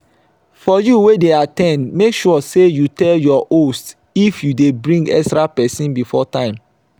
for you wey de at ten d make sure say you tell your host if you de bring extra persin before time